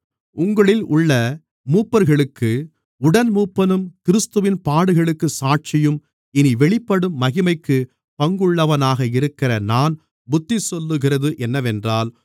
உங்களில் உள்ள மூப்பர்களுக்கு உடன்மூப்பனும் கிறிஸ்துவின் பாடுகளுக்குச் சாட்சியும் இனி வெளிப்படும் மகிமைக்குப் பங்குள்ளவனாக இருக்கிற நான் புத்திசொல்லுகிறது என்னவென்றால்